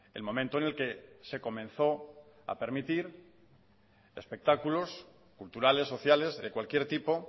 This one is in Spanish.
el momento en el que se comenzó a permitir espectáculos culturales sociales de cualquier tipo